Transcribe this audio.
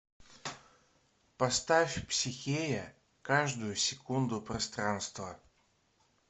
поставь психея каждую секунду пространства